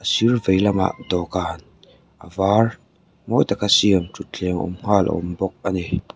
sir veilamah dawhkan a var mawi taka siam thuthleng awm nghal a awm bawk a ni.